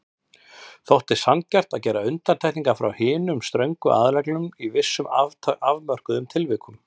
Þótti sanngjarnt að gera undantekningar frá hinum ströngu aðalreglum í vissum afmörkuðum tilvikum.